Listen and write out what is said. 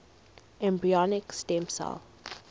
embryonic stem cell